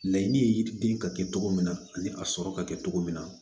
Laɲini ye yiriden ka kɛ cogo min na ani a sɔrɔ ka kɛ cogo min na